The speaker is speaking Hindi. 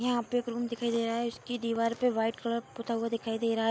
यहाँ पे एक रूम दिखाई दे रहा है इसकी दीवार पे वाइट कलर पुता हुआ दिखाई दे रहा --